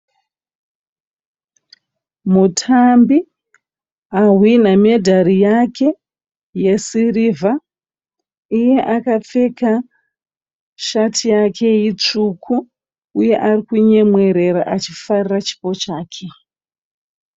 Mutambi ahwinha medhari yake yesirivha. Iye akapfeka sheti yake itsvuku, uye arikunyemwerera achifarira chipo chake.